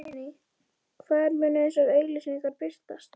Guðný: Hvar munu þessar auglýsingar birtast?